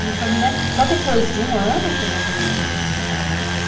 Minha família, só depois de um ano que a minha família soube que eu já estava casada.